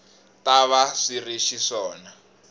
ta va swi ri xiswona